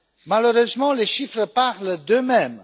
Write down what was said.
Malheureusement, les chiffres parlent d'eux mêmes.